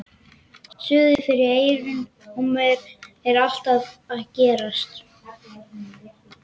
Suðið fyrir eyrunum á mér er alltaf að ágerast.